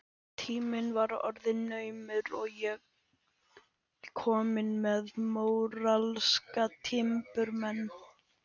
Tíminn var orðinn naumur og ég komin með móralska timburmenn.